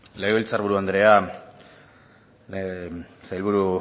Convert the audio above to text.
legebiltzar buru andrea sailburu